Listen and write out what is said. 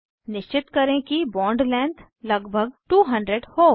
निश्चित करें कि बॉन्ड लेंथ लगभग 200 हो